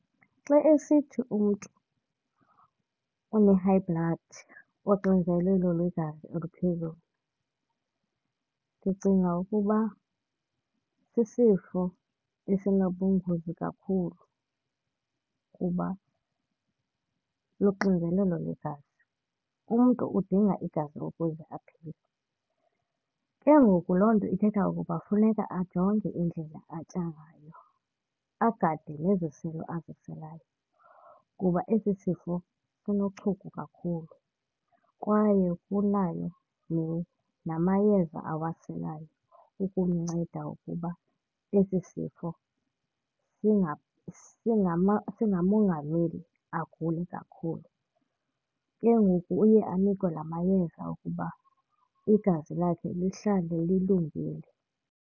Xa esithi umntu une-high blood, uxinzelelo lwegazi oluphezulu, ndicinga ukuba sisifo esinobungozi kakhulu kuba luxinzelelo lwegazi. Umntu udinga igazi ukuze aphile, ke ngoku loo nto ithetha ukuba kufuneka ajonge indlela atya ngayo agade neziselo aziselayo kuba esi sifo sinochuku kakhulu kwaye kunayo namayeza awaselayo ukumnceda ukuba esi sifo singamongameli agule kakhulu. Ke ngoku uye anikwe namayeza okuba igazi lakhe lihlale lilungile.